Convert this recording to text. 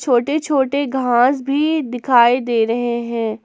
छोटे छोटे घास भी दिखाई दे रहे हैं।